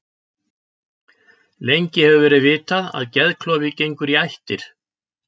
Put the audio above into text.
Lengi hefur verið vitað að geðklofi gengur í ættir.